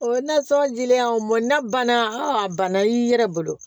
O nasɔn dilen an ma banna a banna i yɛrɛ bolo